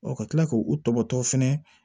ka tila k'u tɔbɔtɔ fɛnɛ